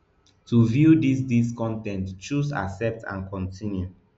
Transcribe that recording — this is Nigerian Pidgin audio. to view dis dis con ten t choose accept and continue